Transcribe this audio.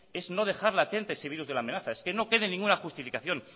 es no dejar latente ese virus de la amenaza es que no quede ninguna justificación